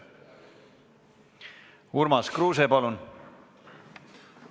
Urmas Kruuse, palun!